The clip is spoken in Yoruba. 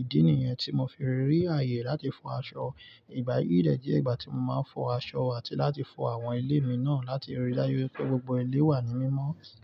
Ìdí nìyẹn tí mo fi rí ààyè láti fọ aṣọ. Ìgbà yíì dẹ̀ jẹ́ ìgbà tí mo máa ń fọ aṣọ àti láti fọ àwọn ilé mi náà láti rí daju wipé gbogbo ilé wà ní mímọ́.